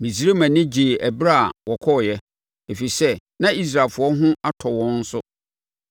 Misraim ani gyeeɛ ɛberɛ a wɔkɔeɛ, ɛfiri sɛ na Israelfoɔ ho hu atɔ wɔn so.